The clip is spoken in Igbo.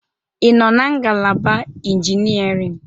Ị nọ na ngalaba Engineering?